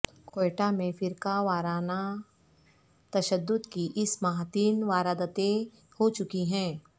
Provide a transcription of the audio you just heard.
کوئٹہ میں فرقہ ورانہ تشدد کی اس ماہ تین وارداتین ہو چکی ہیں